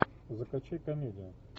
закачай комедию